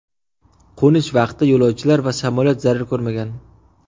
Qo‘nish vaqti yo‘lovchilar va samolyot zarar ko‘rmagan.